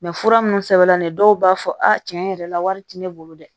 fura minnu sɛbɛn la dɔw b'a fɔ a tiɲɛ yɛrɛ la wari tɛ ne bolo dɛ